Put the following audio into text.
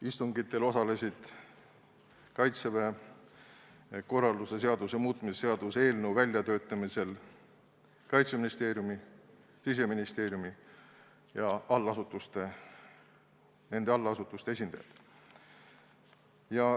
Istungitel osalesid Kaitseväe korralduse seaduse muutmise seaduse eelnõu väljatöötamisel Kaitseministeeriumi, Siseministeeriumi ja nende allasutuste esindajad.